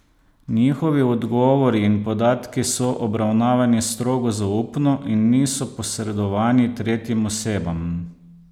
Njihovi odgovori in podatki so obravnavani strogo zaupno in niso posredovani tretjim osebam.